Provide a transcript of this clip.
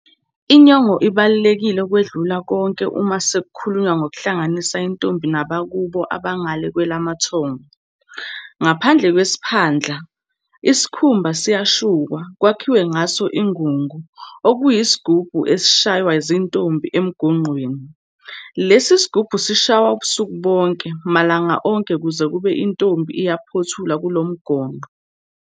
Inyongo ibaluleke ukwedlula konke uma sekukhulunywa ngokuhlanganisa intombi nabakubo abangale kwelamathongo. Ngaphandle kwesiphandla, isikhumba siyashukwa, kwakhiwe ngaso ingungu, okuyisigubhu esishaywa zintombi emgonqweni. Lesi sigubhu sishaywa ubusuku bonke, malanga wonke kuze kube intombi iyaphothulwa kulo mgonqo.